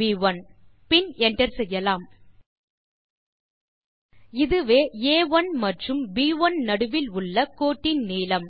B1 பின் enter செய்யலாம் இதுவே ஆ1 மற்றும் ப்1 நடுவில் உள்ள கோட்டின் நீளம்